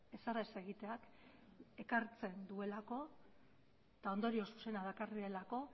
ezer ez egiteak ekartzen duelako eta ondorio zuzena dakarrelako